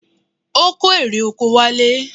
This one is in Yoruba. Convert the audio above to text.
Ó kó erè oko wálé.